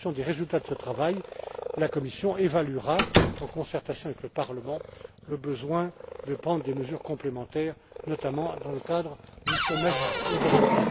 En fonction des résultats de ce travail, la Commission évaluera, en concertation avec le Parlement, le besoin de prendre des mesures complémentaires, notamment dans le cadre du Semestre européen.